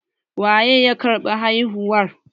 Waye ya karɓi haihuwar?